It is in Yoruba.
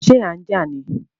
Ṣé à n jà ní?